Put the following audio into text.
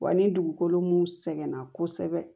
Wa ni dugukolo mun sɛgɛnna kosɛbɛ